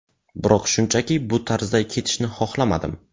Biroq shunchaki bu tarzda ketishni xohlamadim”.